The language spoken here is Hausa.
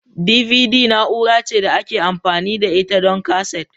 DBD na'ura ce da ake amfani da ita don kaset.